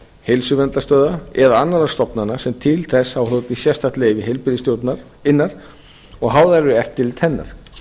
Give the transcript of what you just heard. heilsuverndarstöðva eða annarra stofnana sem til þess hafa hlotið sérstakt leyfi heilbrigðisstjórnarinnar og háðar eru eftirliti hennar